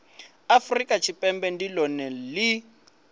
afurika tshipembe ndi lone li